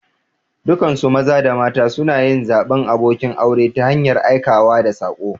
Dukansu maza da mata suna yin zaɓin abokin aure ta hanyar aikawa da saƙo.